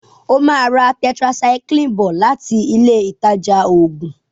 o má rà tetracycline bó lati Ilé ìtajà oògùn.